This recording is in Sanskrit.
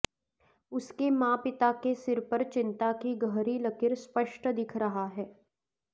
उसके माँ पिता के सिर पर चिंता की गहरी लकीर स्पष्ट दिख रहा है